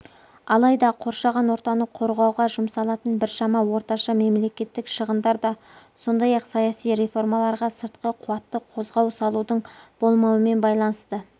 алайда қоршаған ортаны қорғауға жұмсалатын біршама орташа мемлекеттік шығындар да сондай-ақ саяси реформаларға сыртқы қуатты қозғау салудың болмауымен байланысты